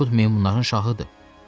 Akut meymunların şahıdır.